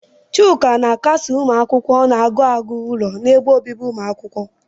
Chuka na-akasi ụmụ akwụkwọ na-agụ agụụ ụlọ n'ebe obibi umuakwukwo.